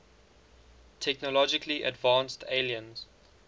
technologically advanced aliens